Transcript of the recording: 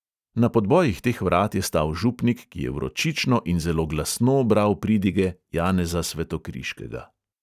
Na podbojih teh vrat je stal župnik, ki je vročično in zelo glasno bral pridige janeza svetokriškega.